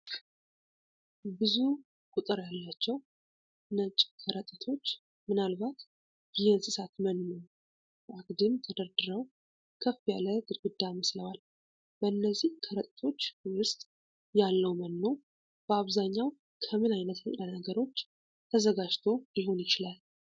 ብዙ ቁጥር ያላቸው ነጭ ከረጢቶች፣ ምናልባት የእንስሳት መኖ፣ በአግድም ተደርድረው ከፍ ያለ ግድግዳ መስለዋል። በእነዚህ ከረጢቶች ውስጥ ያለው መኖ በአብዛኛው ከምን ዓይነት ንጥረ ነገሮች ተዘጋጅቶ ሊሆን ይችላል?